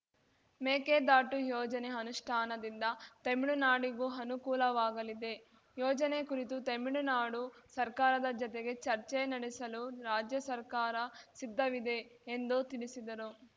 ಮೇಕೆದಾಟು ಯೋಜನೆ ಅನುಷ್ಠಾನದಿಂದ ತೆಮಿಳುನಾಡಿಗೂ ಅನುಕೂಲವಾಗಲಿದೆ ಯೋಜನೆ ಕುರಿತು ತೆಮಿಳುನಾಡು ಸರ್ಕಾರದ ಜತೆಗೆ ಚರ್ಚೆ ನಡೆಸಲು ರಾಜ್ಯ ಸರ್ಕಾರ ಸಿದ್ಧವಿದೆ ಎಂದು ತಿಳಿಸಿದರು